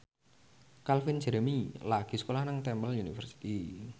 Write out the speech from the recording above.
Calvin Jeremy lagi sekolah nang Temple University